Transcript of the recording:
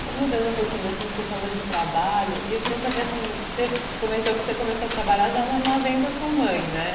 Só mudando um pouquinho de assunto, você falou de trabalho, e eu queria saber, assim você comentou que começou a trabalhar já no armazém da sua mãe, né?